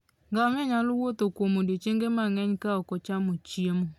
Ngamia nyalo wuotho kuom odiechienge mang'eny ka ok ocham chiemo.